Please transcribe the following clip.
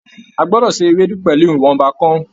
A gbọdọ ṣe Ewédú pẹlú ìwọnba kàn-ún.